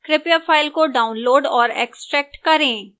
कृपया file को download और extract करें